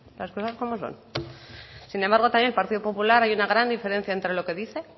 las cosas como son sin embargo también el partido popular entre lo que dice